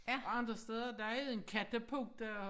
Og andre steder der er en kattepote og